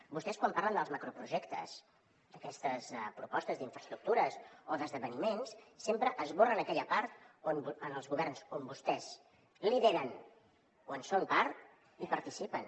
vostès quan parlen dels macroprojectes d’aquestes propostes d’infraestructures o d’esdeveniments sempre esborren aquella part on els governs on vostès lideren o en són part hi participen